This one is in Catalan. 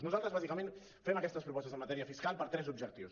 nosaltres bàsicament fem aquestes propostes en matèria fiscal per a tres objectius